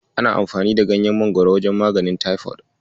Ana amfani da ganyan Mangwaro wajen maganin taifod.